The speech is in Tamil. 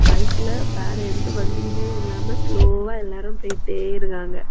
பைக்ல வேற எந்த வண்டியுமே இல்லாம ஸ்லோவா எல்லாரும் போயிட்டே இருக்காங்க.